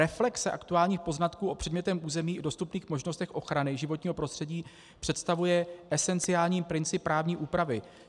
Reflexe aktuálních poznatků o předmětném území i dostupných možnostech ochrany životního prostředí představuje esenciální princip právní úpravy.